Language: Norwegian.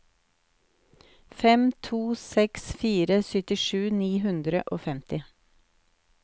fem to seks fire syttisju ni hundre og femti